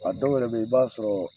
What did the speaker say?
A dɔw yɛrɛ bɛ yen i b'a sɔrɔ